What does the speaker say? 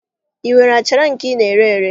I nwere achara nke I na-ere ere?